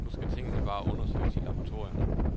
Nu skal tingene bare undersøges i laboratorierne.